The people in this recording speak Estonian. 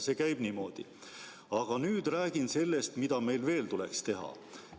See käib niimoodi: "Aga nüüd räägin sellest, mida meil veel tuleks teha.